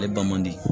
Ale ba man di